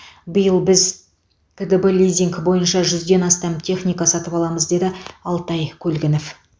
биыл біз қдб лизинг бойынша жүзден астам техника сатып аламыз деді алтай көлгінов